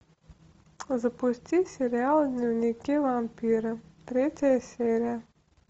запусти сериал дневники вампира третья серия